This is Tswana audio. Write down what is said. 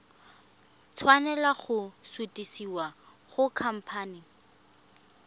tshwanela go sutisediwa go khamphane